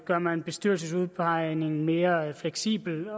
gør man bestyrelsesudpegningen mere fleksibel